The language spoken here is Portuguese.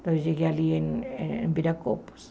Então eu cheguei ali em Viracopos.